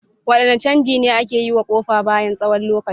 Wadanne canji ne ake yi wa kofa bayan tsawon lokaci?